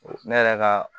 Ne yɛrɛ ka